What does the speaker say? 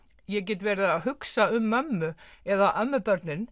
ég get verið að hugsa um mömmu eða